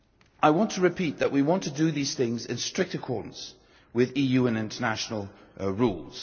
I want to repeat that we want to do these things in strict accordance with EU and international rules.